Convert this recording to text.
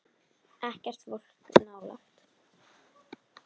Ekkert fólk nálægt.